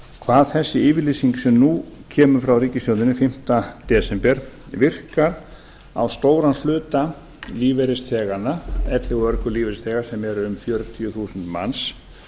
hvað þessi yfirlýsing sem nú kemur frá ríkisstjórninni fimmta desember virkar á stóran hluta lífeyrisþeganna elli og örorkulífeyrisþega sem eru um fjörutíu þúsund manns